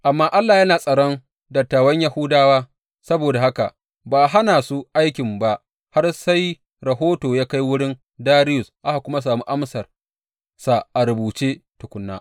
Amma Allah yana tsaron dattawan Yahudawa, saboda haka ba a hana su aikin ba har sai rahoto ya kai wurin Dariyus aka kuma sami amsarsa a rubuce tukuna.